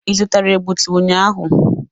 Ị zụtara egbutu ụnyaahụ?